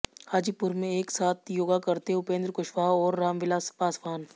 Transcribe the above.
हाजीपुर में एक साथ योगा करते उपेंद्र कुशवाहा और रामविलास पासवान